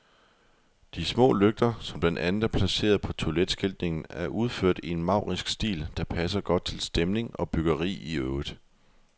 De små lygter, som blandt andet er placeret på toiletskiltningen, er udført i en maurisk stil, der passer godt til stemning og byggeri i øvrigt.